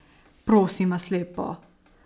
Prosim vas lepo!